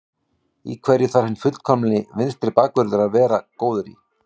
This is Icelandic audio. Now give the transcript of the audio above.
Í hverju þarf hinn fullkomni vinstri bakvörður að vera góður í?